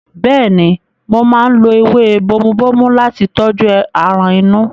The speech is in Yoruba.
Bẹ́ẹ̀ni, mo máa ń lo ewé bomubómú láti tọ́jú aràn inú.